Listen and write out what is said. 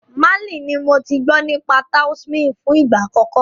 Málì ní mo tí gbọ́ nípa Taoism fún ìgbà àkọ́kọ́.